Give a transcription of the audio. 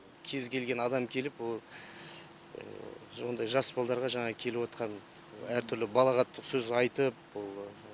кез келген адам келіп ол ондай жас балаларға жаңа келіп отқан әртүрлі балағаттық сөз айтып ол